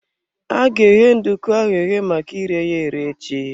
Aga eghe nduku ahụ eghe maka ire ya ere echi.